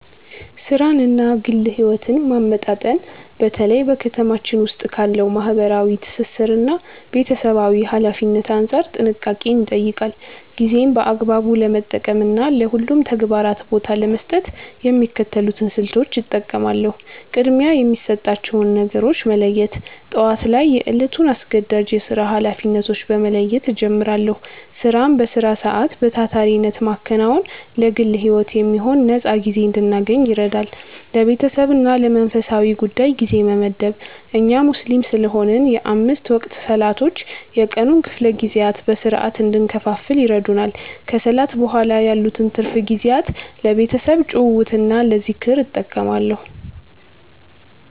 ሥራንና ግል ሕይወትን ማመጣጠን በተለይ በ ከተማችን ዉስጥ ካለው ማህበራዊ ትስስርና ቤተሰባዊ ኃላፊነት አንጻር ጥንቃቄን ይጠይቃል። ጊዜን በአግባቡ ለመጠቀምና ለሁሉም ተግባራት ቦታ ለመስጠት የሚከተሉትን ስልቶች እጠቀማለሁ፦ ቅድሚያ የሚሰጣቸውን ነገሮች መለየት፦ ጠዋት ላይ የዕለቱን አስገዳጅ የሥራ ኃላፊነቶች በመለየት እጀምራለሁ። ሥራን በሥራ ሰዓት በታታሪነት ማከናወን ለግል ሕይወት የሚሆን ነፃ ጊዜ እንድናገኝ ይረዳል። ለቤተሰብና ለመንፈሳዊ ጉዳይ ጊዜ መመደብ፦ እኛ ሙስሊም ስለሆንን የአምስት ወቅት ሰላቶች የቀኑን ክፍለ ጊዜያት በሥርዓት እንድንከፋፍል ይረዱናል። ከሰላት በኋላ ያሉትን ትርፍ ጊዜያት ለቤተሰብ ጭውውትና ለዝክር እጠቀማለሁ።